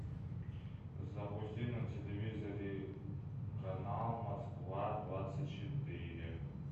запусти на телевизоре канал москва двадцать четыре